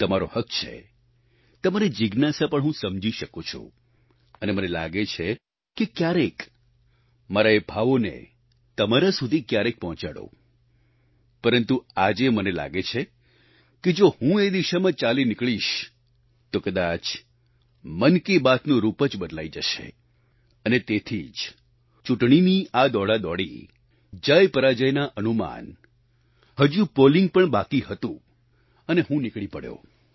તમારો હક છે તમારી જિજ્ઞાસા પણ હું સમજી શકું છું અને મને લાગે છે કે ક્યારેક મારા એ ભાવોને તમારા સુધી ક્યારેક પહોંચાડું પરંતુ આજે મને લાગે છે કે જો હું એ દિશામાં ચાલી નીકળીશ તો કદાચ મન કી બાત નું રૂપ જ બદલાઈ જશે અને તેથી જ ચૂંટણીની આ દોડાદોડી જયપરાજયના અનુમાન હજુ પોલિંગ પણ બાકી હતું અને હું નીકળી પડ્યો